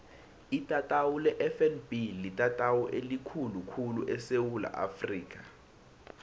itatawu lefnb litatawu elikhulu khulu esewula afrika